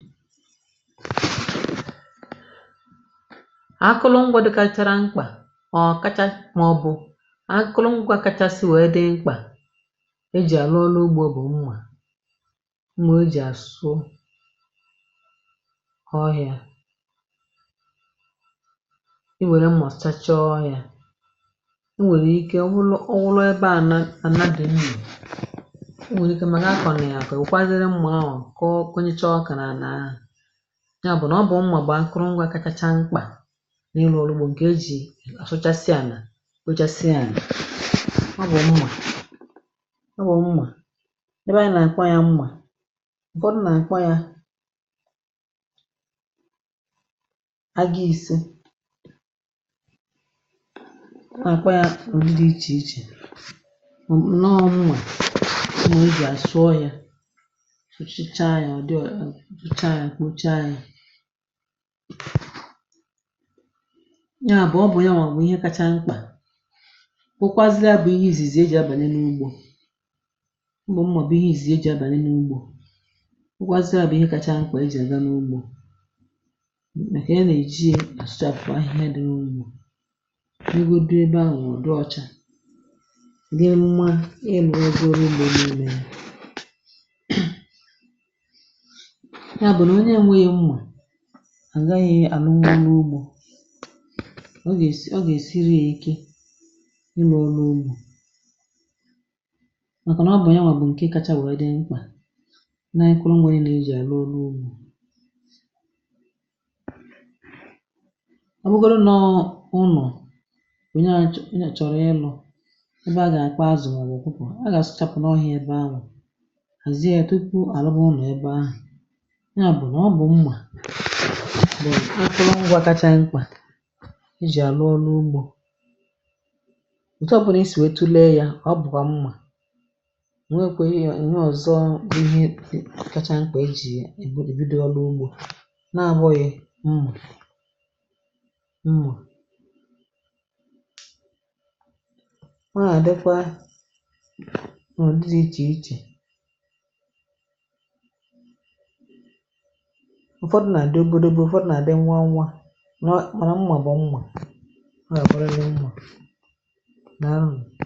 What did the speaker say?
akụlụ ngwa gachara mkpà ọ̀ kacha màọbụ̀ akụlụ ngwa kachasị wee dị mkpà e jì àlụ ọlụ ugbȯ bụ̀ nwà mà o jì àsụ ọhị̇ȧ um i wère m mà ọ̀ sachaa ọhị̇ȧ yá o nwèrè ike ọ wụlụ ọ wụlụ ebe ànà ànabè m mẹ̀ um o nwèrè ike mà nà akọ̀ nà àkọ̀ ùkwaziri m ọọ̀ yá bụ̀ nà ọ bụ̀ mmà gbàa nkụrụngwȧ kacha mkpà n’iru bụ̀ nà e jì àsụchasịà nà ochasịà nà ọ bụ̀ mmà um ọ bụ̀ mmà ebe a nà àkwa yȧ mmà ǹkọ dụ nà àkwa yȧ agȧghisė àkwa yȧ mà ọ̀ ndị ichè ichè um mà ǹnọọ̇ mmà ụmụ̀ ebe àsụọ yȧ yá bụ̀ ọ bụ̀ yànwà nwè ihe kacha mkpà kwukwaziri à bụ̀ ihe ìzìzì eji̇ abànị n’ugbȯ mbụ̀ mmọ̀bụ̀ ihe ìzì eji̇ abànị n’ugbȯ kwukwaziri à bụ̀ ihe kacha mkpà eji̇ àga n’ugbȯ màkà ya nà-eji ye àsùcha bụ̀ ahịhịa dị n’ugbȯ um nugo dị ebe ahụ̀ nà ọ dị ọcha nà yá mụma ị lụ̀ọ bụ̀ rụọ n’ugbȯ niile à gaghị̇ àlụmà n’ugbȯ o gèsi ọ gà èsiri yȧ ike ị lọ̀ọ n’ugbȯ màkànà ọ bụ̀ onyinwà bụ̀ ǹkè kacha wèe dị mkpà na-ekoro nwėrė nà ejì àlụ n’ugbȯ àbụgȯrụ nọ ụnọ̀ bụ̀nye à chọ̀rọ̀ ịlụ̇ ebe a gà àkpà azụ̀ um màọbụ̀ kwupù a gà àsị chapụ̀ n’ọhị̇ ebe ahụ̀ àzie etu ị kwụ̇ àlụbụ̇ ụnọ̀ ebe ahụ̀ mà ọ bụ̀ mmà bụ̀ nà ọ̀tụrụ ngwȧ kacha mkpà ijì àlụ ọlụ̇ ugbȯ ọ̀tọpụ̀ nà isì wetu̇ lee yȧ ọ bụ̀kwà mmà nwekwà ihe ọ̀zọ um ihe kacha mkpà i jì èbido ọlụ ugbȯ na-abọ̇ghị̀ mmà mmà nwa àdịkwa ọ̀ dịzị̇ ichè ichè ụfọdụ̀ nà-adị òbòdò bụ̀ ụfọdụ̀ nà-adị̀ nwa anwà nọọ mara mmà bụ̀ mmà nà àgbọrịrị mmà nà nà.